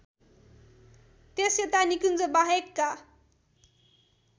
त्यसयता निकुञ्जबाहेकका